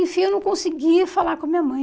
Enfim, eu não conseguia falar com a minha mãe.